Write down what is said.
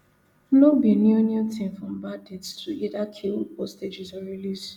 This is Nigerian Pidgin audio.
no be new new tin for bandits to either kill hostages or release